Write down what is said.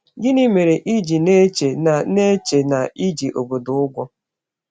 Gịnị mere i ji na-eche na na-eche na i ji obodo gị ụgwọ?